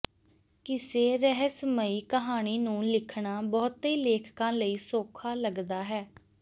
ਕਿਸੇ ਰਹੱਸਮਈ ਕਹਾਣੀ ਨੂੰ ਲਿਖਣਾ ਬਹੁਤੇ ਲੇਖਕਾਂ ਲਈ ਸੌਖਾ ਲੱਗਦਾ ਹੈ